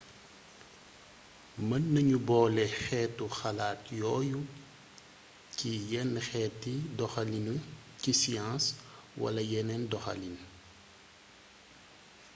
mën nañu boole xeetu xalaat yooyu ci yenn xeeti doxalini ci science wala yeneen doxalin